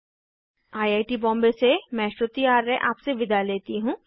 I I T Bombay से मैं श्रुति आर्य आपसे विदा लेती हूँ